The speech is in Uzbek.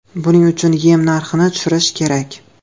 Buning uchun yem narxini tushirish kerak.